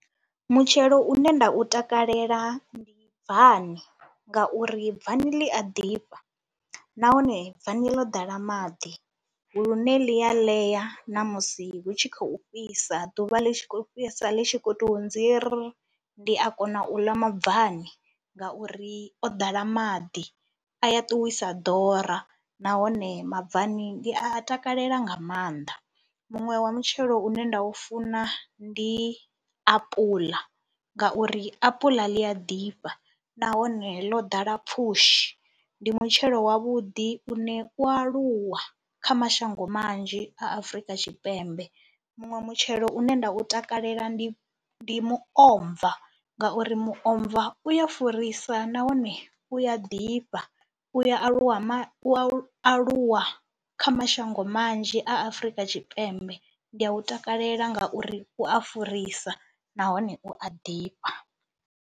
Mutshelo une nda u takalela ndi bvani ngauri bvani ḽi a ḓifha nahone bvani ḽo ḓala maḓi lune ḽi ya ḽea na musi hu tshi khou fhisa, ḓuvha ḽi tshi khou fhisa ḽi tshi khou tou nzirr. Ndi a kona u ḽa mabvani ngauri o ḓala maḓi, a ya ṱuwisa ḓora nahone mabvani ndi a takalela nga maanḓa. Muṅwe wa mutshelo une nda u funa ndi apuḽa ngauri apula ḽi a ḓifha nahone ḽo ḓala pfhushi, ndi mutshelo wavhuḓi une u aluwa kha mashango manzhi a Afrika Tshipembe. Muṅwe mutshelo une nda u takalela ndi ndi muomva ngauri muomva u ya furisa nahone u a ḓifha, u ya aluwa ma aluwa kha mashango manzhi a Afrika Tshipembe. Ndi ya u takalela ngauri u a furisa nahone u a ḓifha.